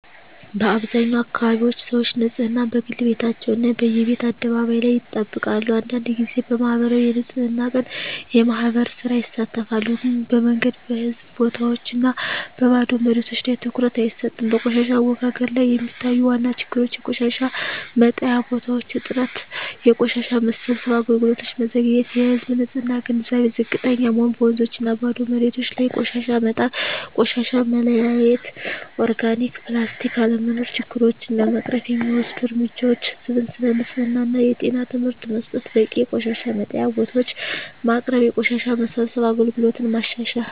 በአብዛኛው አካባቢዎች ሰዎች ንፅህናን፦ በግል ቤታቸው እና በየቤት አደባባይ ላይ ይጠብቃሉ አንዳንድ ጊዜ በማኅበራዊ የንፅህና ቀን (የማህበር ሥራ) ይሳተፋሉ ግን በመንገድ፣ በህዝብ ቦታዎች እና በባዶ መሬቶች ላይ ትኩረት አይሰጥም በቆሻሻ አወጋገድ ላይ የሚታዩ ዋና ችግሮች የቆሻሻ መጣያ ቦታዎች እጥረት የቆሻሻ መሰብሰብ አገልግሎት መዘግየት የህዝብ ንፅህና ግንዛቤ ዝቅተኛ መሆን በወንዞችና ባዶ መሬቶች ላይ ቆሻሻ መጣል ቆሻሻ መለያየት (ኦርጋኒክ/ፕላስቲክ) አለመኖር ችግሮቹን ለመቅረፍ የሚወሰዱ እርምጃዎች ህዝብን ስለ ንፅህና እና ጤና ትምህርት መስጠት በቂ የቆሻሻ መጣያ ቦታዎች ማቅረብ የቆሻሻ መሰብሰብ አገልግሎትን ማሻሻል